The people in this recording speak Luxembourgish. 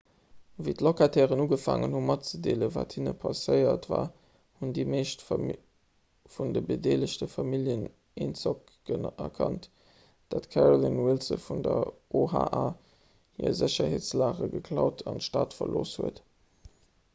wéi d'locatairen ugefaangen hunn matzedeelen wat hinne passéiert war hunn déi meescht vun de bedeelegte familljen eenzock erkannt datt d'carolyn wilson vun der oha hir sécherheetsalage geklaut an d'stad verlooss hat